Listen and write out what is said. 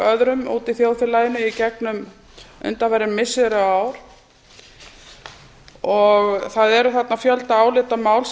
öðrum úti í þjóðfélaginu í gegnum undanfarin missiri og ár það er þarna fjöldi álitamála